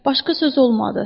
Başqa sözü olmadı.